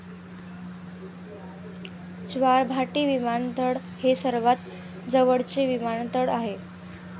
ज्वारभाटी विमानतळ हे सर्वात जवळचे विमानतळ आहे.